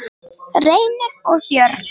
Reynir og börn.